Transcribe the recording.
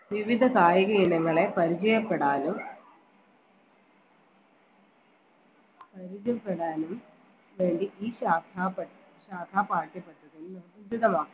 വിവിധ കായിക ഇനങ്ങളെ പരിചയപ്പെടാനും പരിചയപ്പെടാനും വേണ്ടി ഈ സാധാ പാഠ്യ പദ്ധതി ഉചിതമാണ്